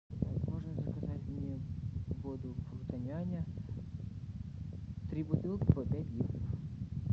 можно заказать мне воду фруто няня три бутылки по пять литров